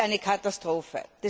Es ist eine Katastrophe.